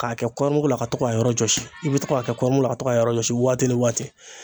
K'a kɛ kɔɔri mugu la ka to k'a yɔrɔ jɔsi i bɛ to k'a kɛ kɔɔri mugu la ka to k'a yɔrɔ jɔsi waati ni waati.